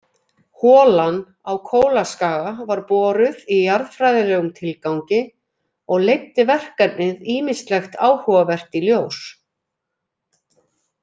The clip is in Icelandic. Holan á Kólaskaga var boruð í jarðfræðilegum tilgangi og leiddi verkefnið ýmislegt áhugavert í ljós.